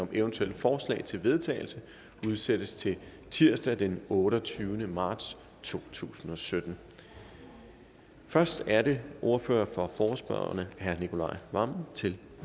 om eventuelle forslag til vedtagelse udsættes til tirsdag den otteogtyvende marts to tusind og sytten først er det ordføreren for forespørgerne herre nicolai wammen til